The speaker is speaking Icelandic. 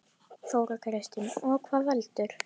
Þóra Kristín: Og hvað veldur?